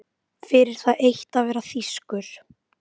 Fyrir það eitt að vera þýskur.